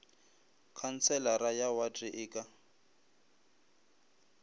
khanselara ya wate e ka